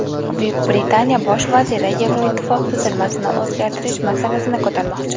Buyuk Britaniya bosh vaziri Yevroittifoq tuzilmasini o‘zgartirish masalasini ko‘tarmoqchi.